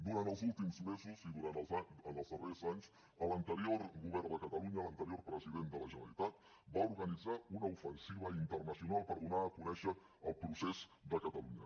durant els últims mesos i en els darrers anys l’anterior govern de catalunya l’anterior president de la generalitat va organitzar una ofensiva internacional per donar a conèixer el procés de catalunya